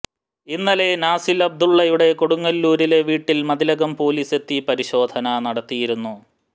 ഇന്നലെ നാസിൽ അബ്ദുള്ളയുടെ കൊടുങ്ങല്ലൂരിലെ വീട്ടിൽ മതിലകം പൊലീസെത്തി പരിശോധന നടത്തിയിരുന്നു